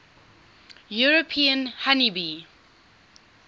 european honey bee